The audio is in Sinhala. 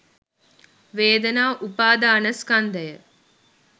වේදනා උපාදානස්කන්ධය